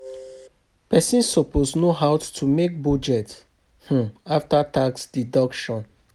Person suppose know how to make budget um after tax deduction